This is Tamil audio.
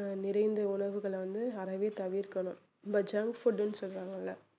அஹ் நிறைந்த உணவுகளை வந்து அறவே தவிர்க்கணும் இந்த junk food னு சொல்லுவாங்கல்ல